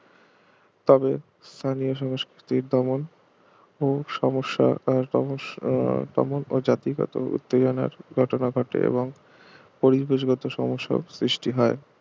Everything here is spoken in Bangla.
তবে স্থানীয় সংস্কৃতির দমন ও সমস্যা আকার তমস তমন ও জাতিগত উত্তেজনার ঘটনা ঘটে এবং পরিবেশ গত সমস্যার সৃষ্টি হয়